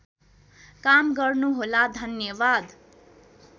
काम गर्नुहोला धन्यवाद